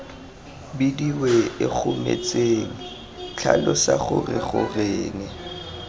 bidiwe ikgomotseng tlhalosa gore goreng